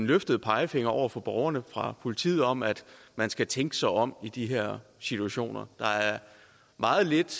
løftet pegefinger over for borgerne fra politiet om at man skal tænke sig om i de her situationer der er meget lidt